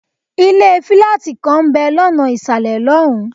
ilé fílátì kan ń bẹ̀ lọ́nà ìsàlẹ̀ lọ́hùn-ún.